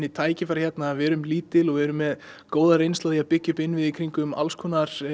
tækifæri hérna við erum lítil og erum með góða reynslu af því að byggja upp innviði í kringum alls konar